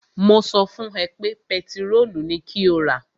Mo sọ fún ẹ pé pẹtirólù ni kó rà!